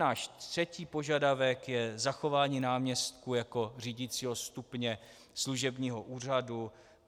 Náš třetí požadavek je zachování náměstků jako řídicího stupně služebního úřadu.